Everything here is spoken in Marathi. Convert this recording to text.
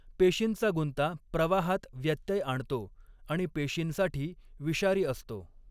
पेशींचा गुंता प्रवाहात व्यत्यय आणतो आणि पेशींसाठी विषारी असतो.